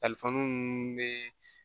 minnu bɛ